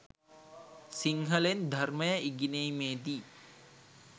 සිංහලෙන් ධර්මය ඉගෙනීමේදී